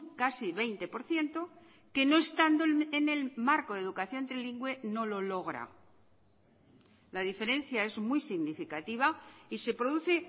casi veinte por ciento que no estando en el marco de educación trilingüe no lo logra la diferencia es muy significativa y se produce